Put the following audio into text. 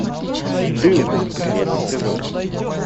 дылды первый сезон